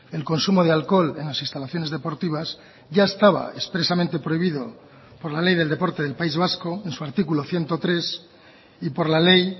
el consumo de alcohol en las instalaciones deportivas ya estaba expresamente prohibido por la ley del deporte del país vasco en su artículo ciento tres y por la ley